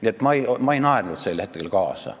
Nii et ma ei naernud sel hetkel kaasa.